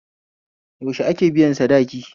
Yaushe ake biyan sadaki?